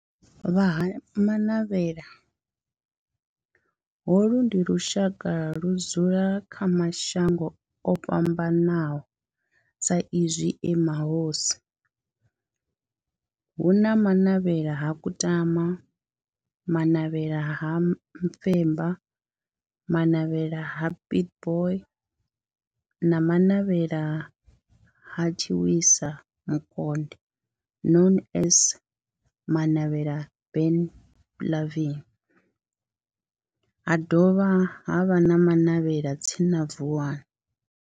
Vha Ha-Manavhela, holu ndi lushaka ludzula kha mashango ofhambanaho sa izwi e mahosi hu na Manavhela ha Kutama, Manavhela ha Mufeba, Manavhela ha Pietboi na Manavhela ha Tshiwisa Mukonde known as Manavhela Benlavin ha dovha havha na Manavhela tsini na Vuwani.